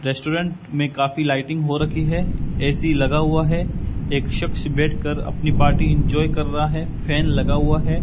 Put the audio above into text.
Restaurant मैं काफी lighting हो रखी है ए_सी लगा हुआ है एक शख्स बैठकर अपनी पार्टी इंजॉय कर रहा है फैन लगा हुआ है।